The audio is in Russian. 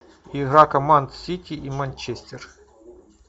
игра команд сити и манчестер